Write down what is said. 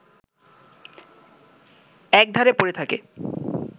এক ধারে পড়ে থাকে